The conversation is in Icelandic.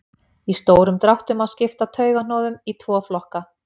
í stórum dráttum má skipta taugahnoðum í tvo flokka